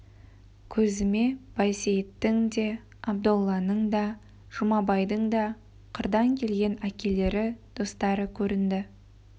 көзіме байсейіттің де абдолланың да жұмабайдың да қырдан келген әкелері достары көрінді